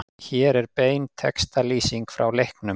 Hér er bein textalýsing frá leiknum